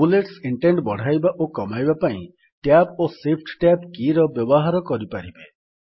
bullets indent ବଢ଼ାଇବା ଓ କମାଇବା ପାଇଁ ଟ୍ୟାବ୍ ଓ ଶିଫ୍ଟ ଟ୍ୟାବ୍ କୀର ବ୍ୟବହାର କରିପାରିବେ